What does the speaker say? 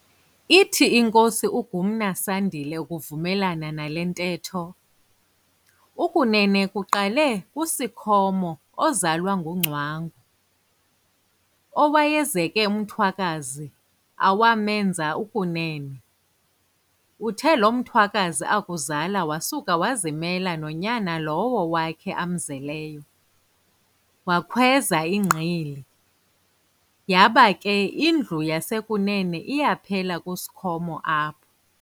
Ithi inkosi uGumna Sandile ukuvumelana nale ntetho, ukunene kuqale kuSikhomo ozalwa nguNgcwangu, owayezeke umthwakazi awamenza ukunene. Uthe lo mthwakazi akuzala wasuka wazimela nonyana lowo wakhe amzeleyo, wakhweza iGqili, yaba ke indlu yasekunene iyaphela kuSikhomo apho.